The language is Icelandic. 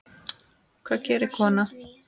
Hvað gerir kona?